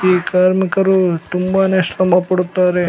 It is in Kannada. ಈ ಕಾರ್ಮಿಕರು ತುಂಬಾನೇ ಶ್ರಮ ಪಡುತ್ತಾರೆ.